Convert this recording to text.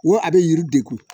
Wo a bɛ yiri de kun